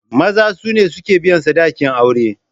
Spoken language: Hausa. Maza sune suke biyan sadakin aure.